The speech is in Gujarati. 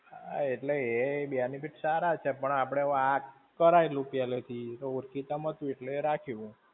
હા એટલે એ benefit સારા છે પણ આપણે આ કરાયેલું પહેલે થી, તો ઓળખીતા માં હતું એટલે એ રાખ્યું.